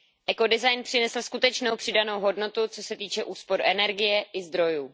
Ekodesign přinesl skutečnou přidanou hodnotu, co se týče úspor energie i zdrojů.